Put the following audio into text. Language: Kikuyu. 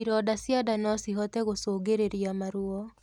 Ironda cia ndaa nocihote gũcũngĩrĩrĩa maruo